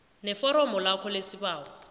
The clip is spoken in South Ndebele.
neforomo lakho lesibawo